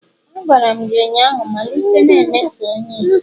A gwara m gị ụnyahụ. malite na-emeso onye ìsì